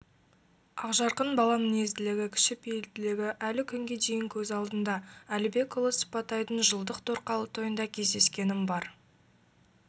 ақжарқын баламінезділігі кішіпейілділігі әлі күнге дейін көз алдымда әлібекұүлы сыпатайдың жылдық торқалы тойында кездескенім бар